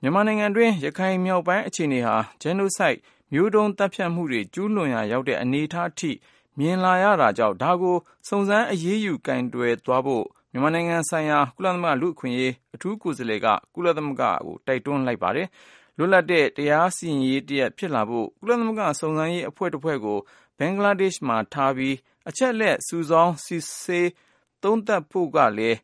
မြန်မာနိုင်ငံတွင်း ရခိုင်မြောက်ပိုင်းအခြေအနေဟာ Genocide မျိုးတုံးသတ်ဖြတ်မှုတွေ ကျူးလွန်ရာရောက်တဲ့အနေအထားအထိ မြင်လာရတာကြောင့် ဒါကို စုံစမ်းအရေးယူကိုင်တွယ်သွားဖို့ မြန်မာနိုင်ငံဆိုင်ရာ ကုလသမဂ္ဂလူ့အခွင့်အရေးကိုယ်စားလှယ်က ကုလသမဂ္ဂကို တိုက်တွန်းသွားပါတယ်။ လွတ်လပ်တဲ့တရားစီရင်ရေးတရပ်ဖြစ်လာဖို့ ကုလသမဂ္ဂ စုံစမ်းရေးအဖွဲ့တဖွဲ့ကို ဘင်္ဂလားဒေ့ရ်ှမှာထားပြီး အချက်အလက်တွေ စုဆောင်း စီစစ် သုံးသပ်ဖိုကကိုလည်း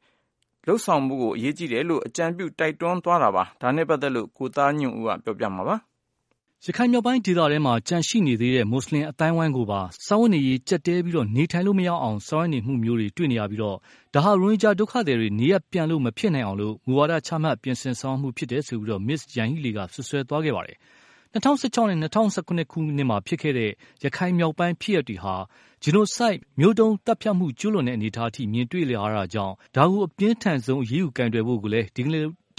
အကြံပြုတိုက်တွန်းသွားပါတယ်။ ဒါနဲ့ပတ်သက်လို့တော့ကိုသားညွန့်ဦးက ပြောပြမှာပါ။ ရခိုင်မြောက်ပိုင်းဒေသထဲမှာ ကျန်နေသေးတဲ့မွတ်ဆလင်အသိုင်းအဝိုင်းကိုပါ စားဝတ်နေရေးကြပ်တည်းပြီးနေထိုင်လို့မရအောင်ဆောင်ရွက်နေပြီး၊ ဒါဟာ ရိုဟင်ဂျာဒုက္ခသည်တွေ နေရပ်ပြန်လို့မဖြစ်နိုင်အောင်လို့ မူဝါဒချ ပြင်ဆင်ဆောင်ရွက်မှုဖြစ်တယ်ဆိုပြီး Ms.Yahee Lee က စွပ်စွဲသွားခဲ့ပါတယ်။ ၂၀၁၆ နဲ့ ၂၀၁၇ မှာ ဖြစ်ခဲ့တဲ့ ရခိုင်မြောက်ပိုင်းဖြစ်ရပ်တွေဟာ Genocide မျိုးတုံးသတ်ဖြတ်မှုကျူးလွန်တဲ့အနေအထားအထိ မြင်တွေ့လာရတာကြောင့် ဒါကို အပြင်းထန်ဆုံးကိုင်တွယ်အရေးယူဖို့ကိုလည်း ဒီ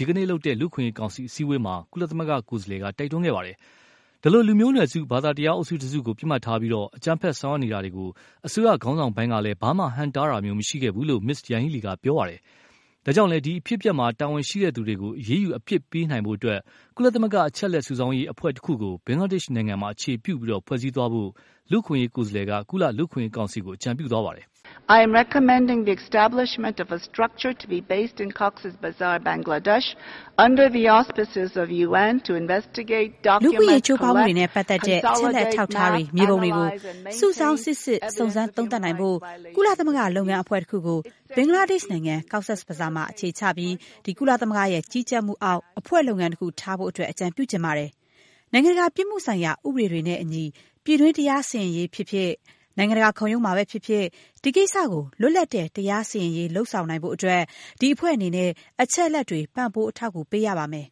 ကနေ့လုပ်တဲ့ လူ့အခွင့်အရေးကောင်စီအစည်းအဝေးမှာ ကုလ ကိုယ်စားလှယ်က တိုက်တွန်းသွားပါတယ်။ ဒီလို လူမျိုးနွယ်စု ဘာသာတရားအုပ်စုတစုကို ပစ်မှတ်ထားပြီး အကြမ်းဖက်ဆောင်ရွက်နေတာကို အစိုးရခေါင်းဆောင်ပိုင်းကလည်း ဘာမှ ဟန့်တားတာမျိုး မရှိခဲ့ဘူးလို့လည်း Ms. Yanhee Lee က ပြောသွားပါတယ်။ ဒါကြောင့်လည်း ဒီအဖြစ်အပျက်မှာ တာဝန်ရှိတဲ့သူတွေကို အရေးယူအပြစ်ပေးနိုင်ဖို့အတွက် ကုလသမဂ္ဂအချက်အလက်စုဆောင်းအဖွဲ့တခုကို ဘင်္ဂလားဒေ့ရ်ှနိုင်ငံမှာ အခြေပြုပြီး ဖွဲ့စည်းသွားဖို့ လူ့အခွင့်အရေးကိုယ်စားလှယ်က ကုလ လူ့အခွင့်အရေးကောင်စီကို အကြံပြုသွားပါတယ်။ “ လူ့အခွင့်အရေးချိုးဖောက်မှုတွေနဲ့ပတ်သက်တဲ့ အချက်အလက် အထောက်အထားတွေ မြေပုံတွေကို စုဆောင်း စီစစ် စုံစမ်း သုံးသပ်နိုင်ဖို့ ကုလသမဂ္ဂလုပ်ငန်းအဖွဲ့တခုကို ဘင်္ဂလားဒေ့ရ်ှနိုင်ငံ ကော့ဆက်ဘဆားမှာ အခြေချပြီး ကုလသမဂ္ဂရဲ့ကြီးကြပ်မှုအောက် အဖွဲ့လုပ်ငန်းတခု ထားဖို့ အကြံပြုချင်ပါတယ်။ နိုင်ငံတကာပြစ်မှုဆိုင်ရာဥပဒေတွေနဲ့အညီ ပြည်တွင်းတရားစီရေးဖြစ်ဖြစ် နိုင်ငံတကာခုံရုံးမှာဖြစ်ဖြစ် ဒီကိစ္စကို လွတ်လပ်တဲ့ တရားစီရင်ရေးလုပ်နိုင်ဖို့အတွက် ဒီအဖွဲ့အနေနဲ့ အချက်အလက်တွေ ပံ့ပိုးအထောက်အကူပေးရပါမယ်။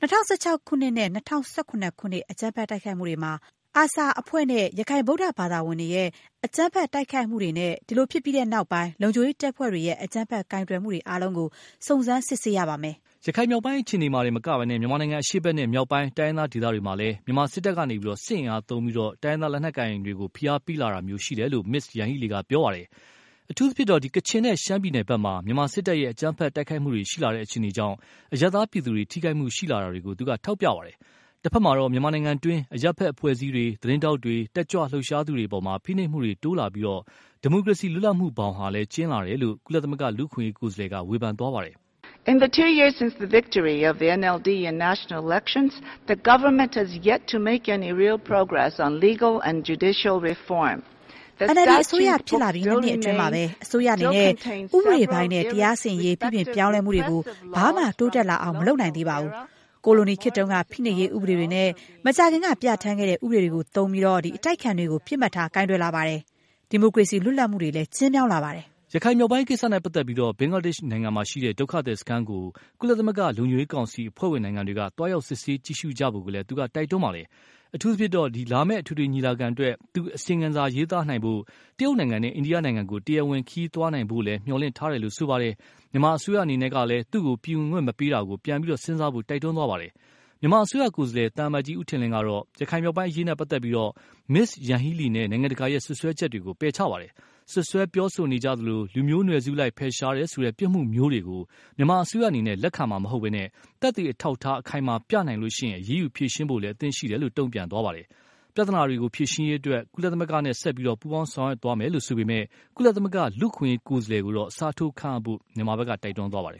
၂၀၁၆ ခုနှစ်နဲ့ ၂၀၁၇ ခုနှစ် အကြမ်းဖက်တိုက်ခိုက်မှုတွေမှာ ARSA အဖွဲ့နဲ့ ရခိုင်ဗုဒဘာသာဝင်တွေရဲ့ အကြမ်းဖက်တိုက်ခိုက်မှုတွေနဲ့၊ ဖြစ်ပြီးတဲ့နောက်ပိုင်း လုံခြုံရေးတပ်ဖွဲ့တွေရဲ့အကြမ်းဖက်ကိုင်တွယ်မှုတွေအားလုံးကို စုံစမ်းစစ်ဆေးရပါမယ်။” ရခိုင်မြောက်ပိုင်းအခြေအနေတင်မကပဲ မြန်မာနိုင်ငံအရှေ့ဖက်နဲ့ မြောက်ပိုင်း တိုင်းရင်းသားဒေသတွေမှာ မြန်မာစစ်တပ်က စစ်အင်အားသုံးပြီး တိုင်းရင်းသားလက်နက်ကိုင်တွေကို ဖိအားပေးလာတာမျိုး ရှိလာတယ်လို့လည်း Ms.Yanhee Lee က ပြောသွားပါတယ်။ အထူးသဖြင့်တော ကချင်နဲ့ ရှမ်းပြည်ဖက်မှာ မြန်မာစစ်တပ်ရဲ့ အကြမ်းဖက်တိုက်ခိုက်မှုတွေ ရှိလာတဲ့အခြေအနေကြောင့် အရပ်သားပြည်သူတွေ ထိခိုက်မှုရှိလာတွေကို ထောက်ပြခဲ့ပါတယ်။ တဖက်မှာတော့ မြန်မာနိုင်ငံတွင်းမှာ အရပ်ဖက်အဖွဲ့တွေ သတင်းထောက်တွေ တတ်ကြွလှုပ်ရှားသူတွေအပေါ် ဖိနှိပ်မှုတွေတိုးလာပြီး၊ ဒီမိုကရေစီလွတ်လပ်မှုတွေဟာ ဘောင်ကျဉ်းလာတယ်လို့ ကုလ လူ့အခွင့်အရေးကိုယ်စားလှယ်က ဝေဖန်ခဲ့ပါတယ်။ “NLD အစိုးရဖြစ်လာပြီး နှစ်နှစ်အတွင်းမှာ အစိုးရအနေနဲ့ ဥပဒေပိုင်းနဲ့တရားစီရင်ရေးပြုပြင်ပြောင်းလဲမှုတွေကို ဘာမှ တိုးတက်လာအောင်မလုပ်နိုင်သေးပါဘူး။ ကိုလိုနီခေတ်တုန်းက ဖိနှိပ်ရေးဥပဒေတွေနဲ့ မကြာခင်ကပြဌန်းတဲ့ ဥပဒေတွေကို သုံးပြီး အတိုက်အခံတွေကို ပစ်မှတ်ထားကိုင်တွယ်လာပါတယ်။ ဒီမိုကရေစီလွတ်လပ်မှုတွေလည်း ကျဉ်းမြောင်းလာပါတယ်။” ရခိုင်မြောက်ပိုင်းကိစ္စနဲ့ပတ်သက်လို့ ဘင်္ဂလားဒေ့ရ်ှမှာရှိတဲ့ ဒုက္ခသည်စခန်းကို ကုလသမဂ္ဂလုံခြုံရေးကောင်စီ အဖွဲ့ဝင်နိုင်ငံတွေက သွားရောက်စစ်ဆေးကြည့်ရှုကြဖို့ကိုလည်း တိုက်တွန်းခဲ့ပါတယ်။ အထူးသဖြင့်တော့ လာမယ့် အထွေထွေညီလာခံအတွက် သူ့အစီရင်ခံစာရေးသားဖို့ တရုတ်နိုင်ငံနဲ့ အိန္ဒိယနိုင်ငံကို တရားဝင်ခရီးသွားရောက်နိုင်ဖို့လည်း မျှော်လင့်ထားတယ်လို့ ပြောပါတယ်။ မြန်မာအစိုးရအနေနဲ့လည်း သူ့ကို ပြည်ဝင်ခွင့်မပေးတာ ပြန်စဉ်းစားဖို့ တိုက်တွန်းခဲ့ပါတယ်။ မြန်မာအစိုးရကိုယ်စားလှယ် သံအမတ်ကြီး ဦးထင်လင်းကတော့ ရခိုင်မြောက်ပိုင်းအရေးနဲ့ပတ်သက်လို့ Ms.Yanghee Lee နဲ့ နိုင်ငံတကာရဲ့ စွပ်စွဲချက်တွေကို ပယ်ချပါတယ်။ စွပ်စွဲပြောဆိုကြသလို လူမျိုးနွယ်စုလိုက်ဖယ်ရှားတယ်ဆိုတဲ့ ပြစ်မှုမျိုးတွေကို မြန်မာအစိုးရအနေနဲ့ လက်ခံမှာမဟုတ်ပဲ၊ သက်သေအထောက်အထားအခိုင်အမာပြနိုင်ရင် အရေးယူဖြေရှင်းဖို့အသင့်ရှိတယ်လို့လည်း တုံ့ပြန်သွားပါတယ်။ ပြဿနာတွေ ဖြေရှင်းရေး ကုလသမဂ္ဂနဲ့ ဆက်ပြီး ပူးပေါင်းဆောင်ရွက်သွားမယ်လို့ဆိုပေမယ့်၊ ကုလသမဂ္ဂ လူ့အခွင့်အရေးကိုယ်စားလှယ် အစားထိုးခန့်အပ်ဖို့ တိုက်တွန်းပါတယ်